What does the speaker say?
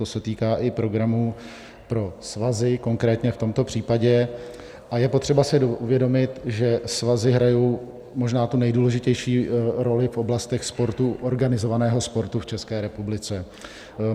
To se týká i programu pro svazy konkrétně v tomto případě, a je potřeba si uvědomit, že svazy hrají možná tu nejdůležitější roli v oblastech sportu, organizovaného sportu v České republice.